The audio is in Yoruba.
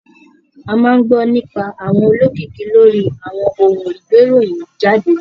A máa ń gbọ́ nípa àwọn olókìkí lórí àwọn ohun ìgbéròyìn jáde.